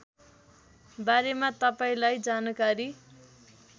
बारेमा तपाईँलाई जानकारी